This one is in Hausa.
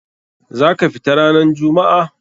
Za ka fita ranan jummu'a?